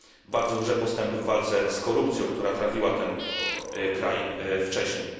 bardzo duże postępy w walce z korupcją, która trawiła ten kraj wcześniej.